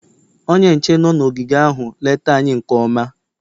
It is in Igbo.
onye nche nọ n'ogige ahụ lete anyị nke mma